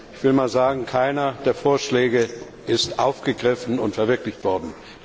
Ich will mal sagen, keiner der Vorschläge ist aufgegriffen und verwirklicht worden.